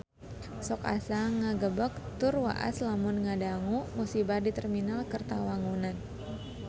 Sok asa ngagebeg tur waas lamun ngadangu musibah di Terminal Kertawangunan